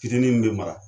Fitinin min bɛ mara